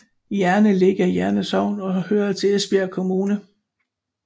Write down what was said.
Jerne ligger i Jerne Sogn og hører til Esbjerg Kommune